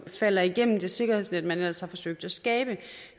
falder igennem det sikkerhedsnet man altså har forsøgt at skabe